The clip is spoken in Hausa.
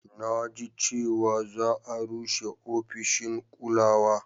Na ji cewa za a rushe ofishin ƙulawa